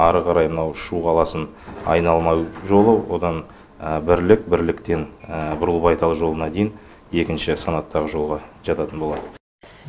ары қарай мына шу қаласын айналма жолы одан бірлік бірліктен бұрылбайтал жолына дейін екінші санаттағы жолға жататын болады